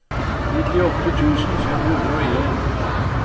nittiåtte tusen fem hundre og en